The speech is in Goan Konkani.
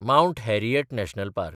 mount Harriet National park